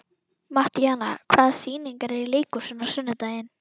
Mattíana, hvaða sýningar eru í leikhúsinu á sunnudaginn?